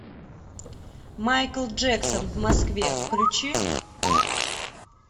майкл джексон в москве включи